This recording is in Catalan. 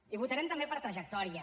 i votarem també per trajectòria